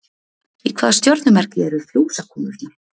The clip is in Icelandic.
Í hvaða stjörnumerki eru Fjósakonurnar?